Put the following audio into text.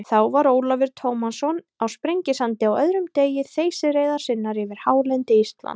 Þá var Ólafur Tómasson á Sprengisandi á öðrum degi þeysireiðar sinnar yfir hálendi Íslands.